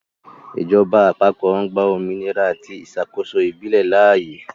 Ìjọba àpapọ̀ ń gba òmìnira àti ìṣàkóso ìbílẹ̀ láàyè.